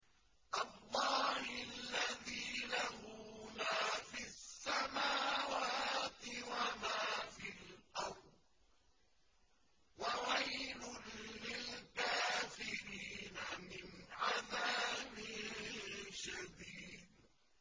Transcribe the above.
اللَّهِ الَّذِي لَهُ مَا فِي السَّمَاوَاتِ وَمَا فِي الْأَرْضِ ۗ وَوَيْلٌ لِّلْكَافِرِينَ مِنْ عَذَابٍ شَدِيدٍ